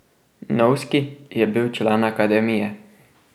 Novski je bil član akademije.